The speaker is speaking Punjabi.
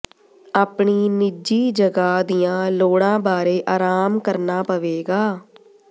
ਆਪਣੀ ਨਿੱਜੀ ਜਗ੍ਹਾ ਦੀਆਂ ਲੋੜਾਂ ਬਾਰੇ ਆਰਾਮ ਕਰਨਾ ਪਵੇਗਾ